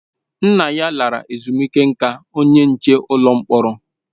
Nna ya lara ezumike nká onye nche ụlọ mkpọrọ